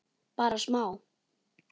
Bara smá.